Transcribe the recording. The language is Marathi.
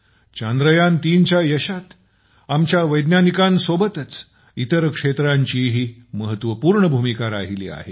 चांद्र यान ३ च्या यशात आमच्या वैज्ञानिकांसोबतच इतर क्षेत्रांचीही महत्वपूर्ण भूमिका राहिली आहे